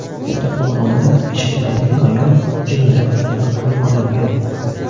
Kattaqo‘rg‘onda yechintirilgan ayol jinoyat ustida qo‘lga olingan.